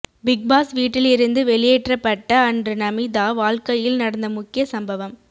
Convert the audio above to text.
big Boss வீட்டில் இருந்து வெளியேற்றப்பட்ட அன்று நமீதா வாழ்க்கையில் நடந்த முக்கிய சம்பவம்